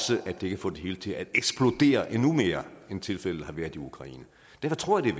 det kan få det hele til at eksplodere endnu mere end tilfældet har været i ukraine derfor tror jeg